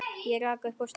Ég rak upp stór augu.